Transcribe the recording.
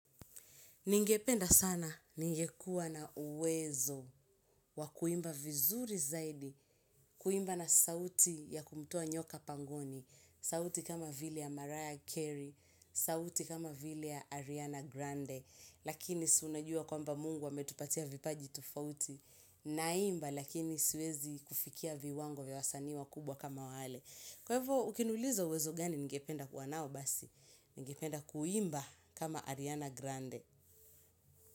Ningependa sana ningekuwa na uwezo wa kuimba vizuri zaidi, kuimba na sauti ya kumtoa nyoka pangoni, sauti kama vile ya Mariah Carey, sauti kama vile ya Ariana Grande, lakini si unajua kwamba mungu ametupatia vipaji tofauti, naimba lakini siwezi kufikia viwango vya wasanii wakubwa kama wale. Kwa hivo ukiniuliza uwezo gani ningependa kuwa nao basi, ningependa kuimba kama Ariana Grande.